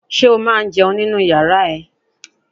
Ṣé o máa ń jẹun nínu yàrá ẹ?